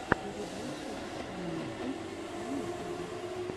передача анитты на ютубе